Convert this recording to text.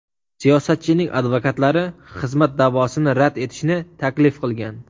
Siyosatchining advokatlari xizmat da’vosini rad etishni taklif qilgan.